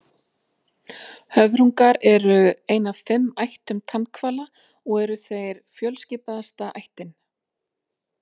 Höfrungar eru ein af fimm ættum tannhvala og eru þeir fjölskipaðasta ættin.